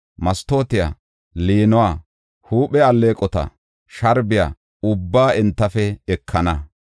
mastootiya, liinuwa, huuphe alleeqota, sharbiya ubbaa entafe ekana.